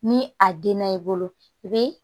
Ni a denna i bolo i bɛ